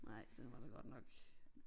Nej den var da godt nok